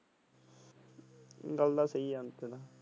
ਗੱਲ ਤਾ ਸਹੀ ਆ।